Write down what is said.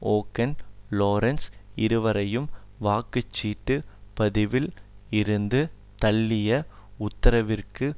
ஓகென் Lawrence இருவரையும் வாக்குச்சீட்டுப் பதிவில் இருந்து தள்ளிய உத்தரவிற்கு